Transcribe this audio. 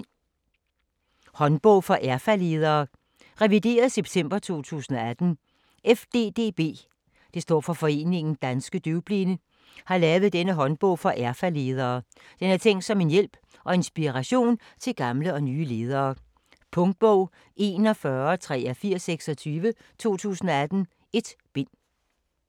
Håndbog for erfaledere: revideret september 2018 FDDB (Foreningen Danske DøvBlinde) har lavet denne håndbog for erfaledere. Den er tænkt som en hjælp og inspiration til gamle og nye ledere. Punktbog 418326 2018. 1 bind.